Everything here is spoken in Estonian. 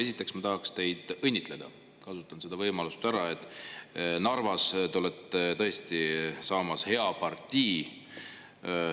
Esiteks ma tahaks teid õnnitleda, kasutan seda võimalust: Narvas te olete tõesti saamas hea partii.